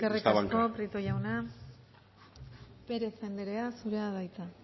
esta eskerrik asko prieto jauna pérez andrea zurea da hitza